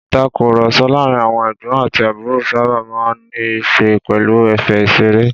Ìtàkurọ̀sọ láàárín àwọn ẹ̀gbọ́n àti àbúrò sábà máa ń ní í ṣe pẹ̀lú ẹ̀fẹ̀ ìṣeré.